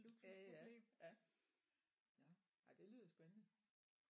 Ja ja ja nåh ej det lyder spændende